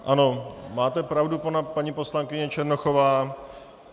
Ano, máte pravdu, paní poslankyně Černochová.